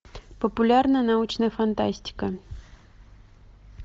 популярная научная фантастика